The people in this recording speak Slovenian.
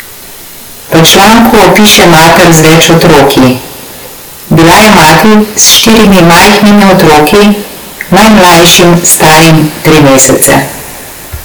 V članku opiše mater z več otroki: "Bila je mati s štirimi majhnimi otroki, najmlajšim starim tri mesece.